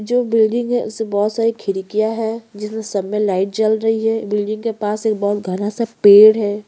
जो बिल्डिंग है उसमे बहोत सारी खिड़किया है जिसमे सब मैं लाइट जल रही यही बिल्डिंग के पास एक बहोत घना सा पेड़ है।